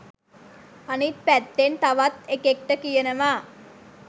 අනිත් පැත්තෙන් තවත් එකෙක්ට කියනවා